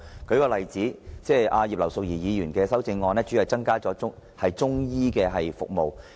舉例而言，葉劉淑儀議員的修正案主要是要求增加中醫服務。